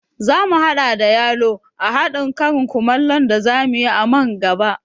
Zamu haɗa da yalo a haɗin karin kumallon da zamu yi a man gaba